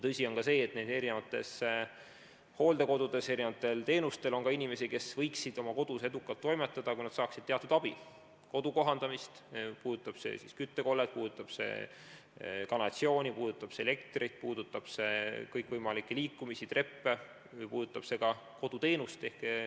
Tõsi on ka see, et hooldekodudes saavad teenuseid ka inimesed, kes võiksid oma kodus edukalt toimetada, kui nad saaksid teatud abi, näiteks kodu kohandamist, puudutab see siis küttekollet, kanalisatsiooni, elektrit, kõikvõimalikke liikumisvõimalusi, treppe või ka koduteenust.